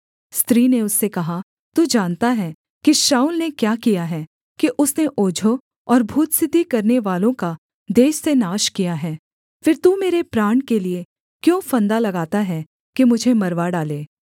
स्त्री ने उससे कहा तू जानता है कि शाऊल ने क्या किया है कि उसने ओझों और भूतसिद्धि करनेवालों का देश से नाश किया है फिर तू मेरे प्राण के लिये क्यों फंदा लगाता है कि मुझे मरवा डाले